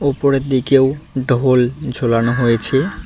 উপরের দিকেও ঢোল ঝোলানো হয়েছে।